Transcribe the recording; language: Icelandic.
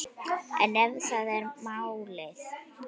En ef það er málið?